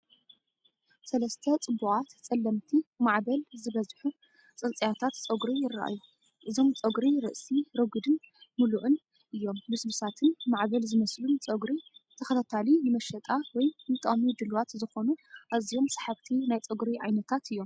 ሰለስተ ጽቡቓት፡ ጸለምቲ፡ ማዕበል ዝበዝሑ ጽንጽያታት ጸጉሪ ይረኣዩ። እዞም ጸጉሪ ርእሲ ረጒድን ምሉእን እዮም። ልስሉሳትን ማዕበል ዝመስሉን ጸጕሪ ብተኸታሊ ንመሸጣ ወይ ንጥቕሚ ድሉዋት ዝኾኑ ኣዝዮም ሰሓብቲ ናይ ጸጉሪ ዓይነታት እዮም፡፡